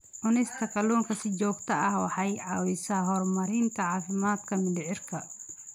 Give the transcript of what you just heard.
Cunista kalluunka si joogto ah waxay caawisaa horumarinta caafimaadka mindhicirka.